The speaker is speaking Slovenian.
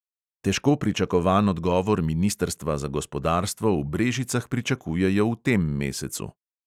Težko pričakovan odgovor ministrstva za gospodarstvo v brežicah pričakujejo v tem mesecu.